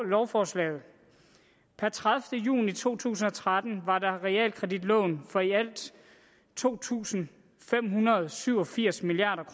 lovforslaget per tredivete juni to tusind og tretten var der realkreditlån for i alt to tusind fem hundrede og syv og firs milliard